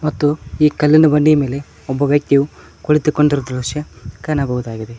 ಮತ್ತು ಈ ಕಲ್ಲಿನ ಬಂಡೆಯ ಮೇಲೆ ಒಬ್ಬ ವ್ಯಕ್ತಿಯು ಕುಳಿತುಕೊಂಡಿರುವ ದೃಶ್ಯ ಕಾನಬಹುದಾಗಿದೆ.